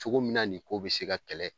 Cogo min na nin ko bɛ se ka kɛlɛ.